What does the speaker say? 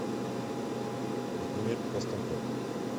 владимир костенков